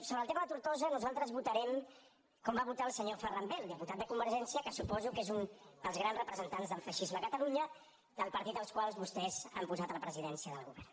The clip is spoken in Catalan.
sobre el tema de tortosa nosaltres votarem com va votar el senyor ferran bel diputat de convergència que suposo que és un dels grans representants del feixisme a catalunya del partit al qual vostès han posat a la presidència del govern